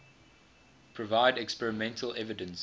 provide experimental evidence